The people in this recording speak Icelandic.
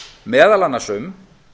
meðal annars um